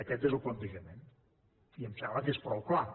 aquest és el plantejament i em sembla que és prou clar